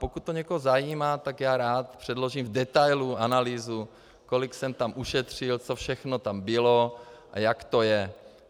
Pokud to někoho zajímá, tak já rád předložím v detailu analýzu, kolik jsem tam ušetřil, co všechno tam bylo a jak to je.